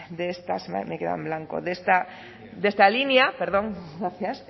de estas me he quedado en blanco de esta línea perdón gracias